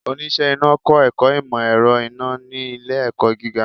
Oníṣe Iná kọ ẹkọ imọ-ẹrọ iná ni ile-ẹkọ giga.